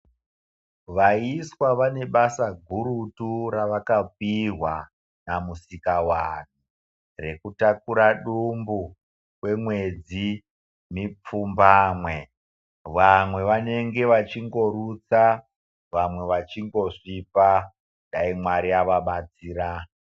Vaiswa vane basa gurutu ravakapihwa naMusikavanhu rekutakura dumbu kwemwedzi mipfumbamwe. Vamwe vanenge vachingorutsa vamwe vachingosvipa, Dai Mwari avabatsira.